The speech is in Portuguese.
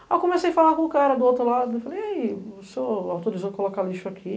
Aí eu comecei a falar com o cara do outro lado e falei, e aí, o senhor autorizou colocar lixo aqui?